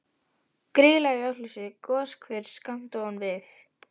Grýla í Ölfusi, goshver skammt ofan við